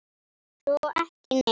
Svo ekki neitt.